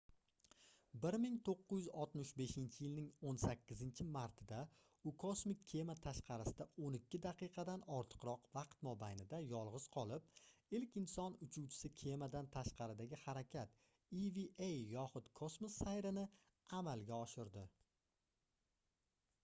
1965-yilning 18-martida u kosmik kema tashqarisida o'n ikki daqiqadan ortiqroq vaqt mobaynida yolg'iz qolib ilk inson uchuvchili kemadan tashqaridagi harakat eva yoxud kosmos sayri"ni amalga oshirdi